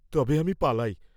তবে আমি পালাই।